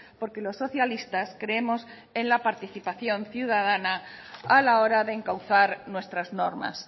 porque los socialistas creemos en la participación ciudadana a la hora de encauzar nuestras normas